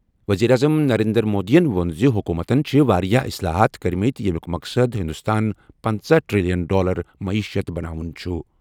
وزیر اعظم نریندر مودی یَن ووٚن زِ حکوٗمتَن چھِ واریاہ اصلاحات کٔرۍمٕتۍ ییٚمیُک مقصد ہندوستان پَنژَہ ٹریلین ڈالر معیشت بناوُن چھُ۔